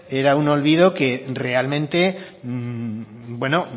era un olvido que realmente